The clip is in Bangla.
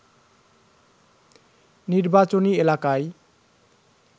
নির্বাচনী এলাকায়